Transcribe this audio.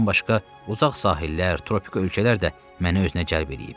Bundan başqa uzaq sahillər, tropik ölkələr də məni özünə cəlb eləyib.